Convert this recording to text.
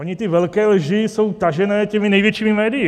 Ony ty velké lži jsou tažené těmi největšími médii.